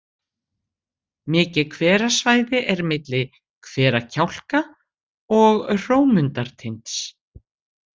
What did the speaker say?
Mikið hverasvæði er milli Hverakjálka og Hrómundartinds.